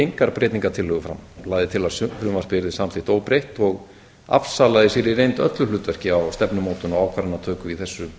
engar breytingartillögur fram lagði til að frumvarpið yrði samþykkt óbreytt og afsalaði sér í reynd öllu hlutverki á stefnumótun og ákvarðanatöku í þessu